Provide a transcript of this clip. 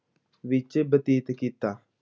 ਵਿੱਚ ਬਤੀਤ ਕੀਤਾ।